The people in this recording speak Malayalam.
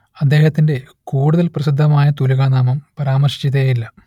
അദ്ദേഹത്തിന്റെ കൂടുതൽ പ്രസിദ്ധമായ തൂലികാനാമം പരാമർശിച്ചതേയില്ല